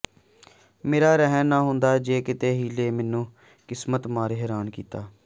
ਮੇਰਾ ਰਹਿਣ ਨਾ ਹੁੰਦਾ ਜੇ ਕਿਤੇ ਹੀਲੇ ਮੈਨੂੰ ਕਿਸਮਤੇ ਮਾਰ ਹੈਰਾਨ ਕੀਤਾ